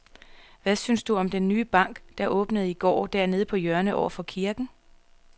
Hvad synes du om den nye bank, der åbnede i går dernede på hjørnet over for kirken?